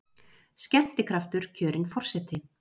Skemmtikraftur kjörinn forseti